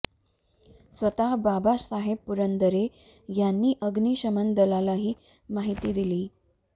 स्वतः बाबासाहेब पुरंदरे यांनी अग्निशमन दलाला ही माहिती दिली